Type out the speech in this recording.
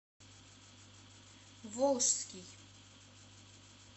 волжский